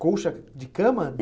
Colcha de cama?